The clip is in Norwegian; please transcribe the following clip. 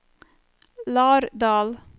Lardal